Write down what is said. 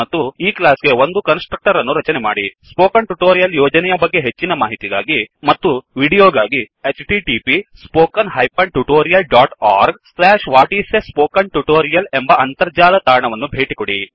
ಮತ್ತು ಈ ಕ್ಲಾಸ್ ಗೆ ಒಂದು ಕನ್ಸ್ ಟ್ರಕ್ಟರ್ ಅನ್ನು ರಚನೆ ಮಾಡಿ ಸ್ಪೋಕನ್ ಟ್ಯುಟೋರಿಯಲ್ ಯೋಜನೆಯ ಬಗ್ಗೆ ಹೆಚ್ಚಿನ ಮಾಹಿತಿಗಾಗಿ ಮತ್ತು ವೀಡಿಯೋಗಾಗಿ 1 ಎಂಬ ಅಂತರ್ಜಾಲ ತಾಣವನ್ನು ಭೇಟಿಕೊಡಿ